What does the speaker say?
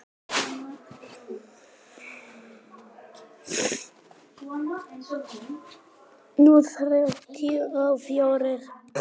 Núll þrjátíu og fjórir?